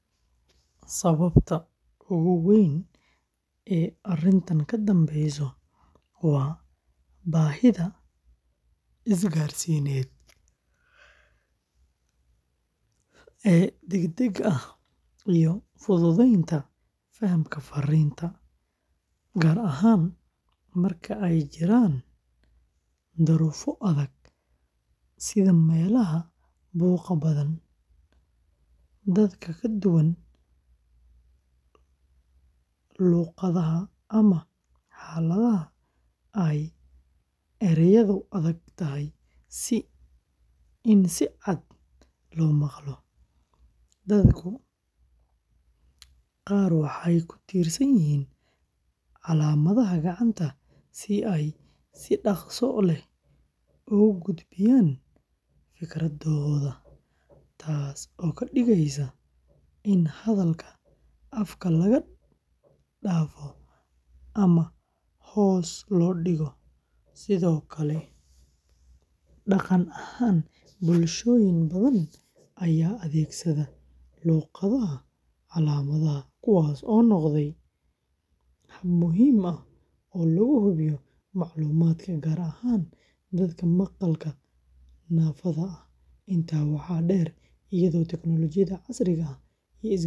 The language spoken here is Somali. Sababta ugu weyn ee arrintan ka dambeysa waa baahida isgaarsiineed ee degdega ah iyo fududeynta fahamka farriinta, gaar ahaan marka ay jiraan duruufo adag sida meelaha buuqa badan, dadka ka duwan luqadaha, ama xaaladaha ay erayadu adag tahay in si cad loo maqlo. Dadka qaar waxay ku tiirsan yihiin calaamadaha gacanta si ay si dhaqso leh ugu gudbiyaan fikradahooda, taas oo ka dhigeysa in hadalka afka laga dhaafo ama hoos loo dhigo. Sidoo kale, dhaqan ahaan, bulshooyin badan ayaa adeegsada luqadaha calaamadaha, kuwaas oo noqday hab muhiim ah oo loogu gudbiyo macluumaadka, gaar ahaan dadka maqalka naafada ah. Intaa waxaa dheer, iyadoo tiknoolajiyada casriga ah iyo isgaarsiinta muuqaalka ah.